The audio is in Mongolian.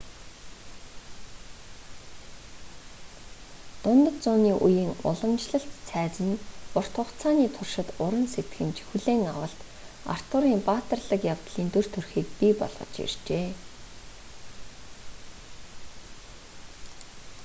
дундад зууны үеийн уламжлалт цайз нь урт хугацааны туршид уран сэтгэмж хүлээн авалт артурын баатарлаг явдлын дүр төрхийг бий болгож иржээ